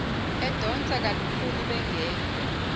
edonsa kalukhuni bengekho